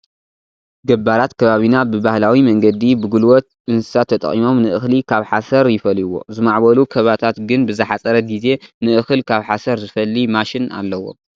ገባራት ከባቢና ብባህላዊ መንገዲ ብጉልበት እንስሳት ተጠቒሞም ንእኽሊ ካብ ሓሰር ይፈልይዎ፡፡ ዝማዕበሉ ከባታት ግን ብዝሓፀረ ግዜ ንእኽል ካብ ሓሰር ዝፈሊ ማሽን ኣለዎም፡፡